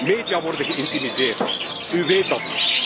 Media worden geïntimideerd, u weet dat.